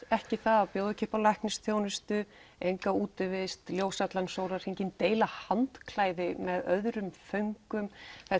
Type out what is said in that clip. ekki það að bjóða ekki upp á læknisþjónustu útivist ljós allan sólahringinn deila handklæði með öðrum föngum